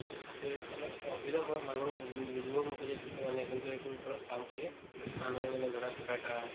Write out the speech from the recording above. to এই অলপ অসুবিধা হওক মানুহ ও ও বুজিব নোখোজে কিছুমানে কিন্তু এইটোৰ ওপৰত কাম কৰি মানুহে মানে ধৰা কিবা এটা